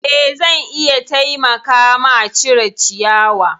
Eh zan iya taimaka ma cire ciyawa.